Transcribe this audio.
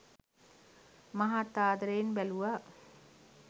මහත් ආදරයෙන් බැලුවා.